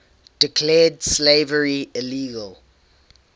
declared slavery illegal